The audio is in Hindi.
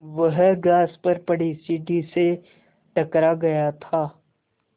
वह घास पर पड़ी सीढ़ी से टकरा गया था